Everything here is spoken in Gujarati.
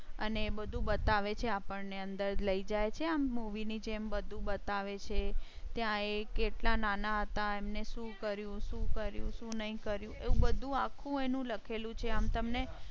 અને અંદર લઇ જાય છે. આમ મૂવી movie ની જેમ બધું બતાવે છે ત્યાં એક એટલા નાના હતા એમ ને શું કર્યું, શું કર્યું, શું નઈ કર્યું એવું બધું આખું એનું લખેલું છે. આમ તમને